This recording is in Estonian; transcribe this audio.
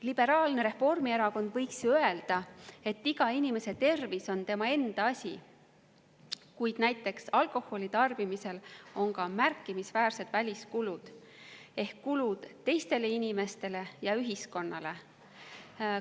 Liberaalne Reformierakond võiks ju öelda, et iga inimese tervis on tema enda asi, kuid näiteks alkoholitarbimisel on ka märkimisväärsed väliskulud ehk kulud teistele inimestele ja ühiskonnale.